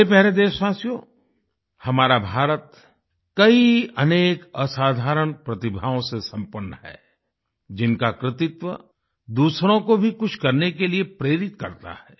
मेरे प्यारे देशवासियो हमारा भारत कई अनेक असाधारण प्रतिभाओं से संपन्न है जिनका कृतित्व दूसरों को भी कुछ करने के लिए प्रेरित करता है